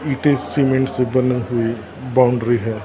इटें cement से बनी हुई बाउंड्री है।